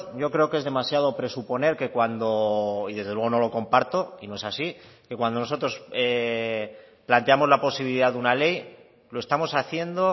yo creo que es demasiado presuponer que cuando y desde luego no lo comparto y no es así que cuando nosotros planteamos la posibilidad de una ley lo estamos haciendo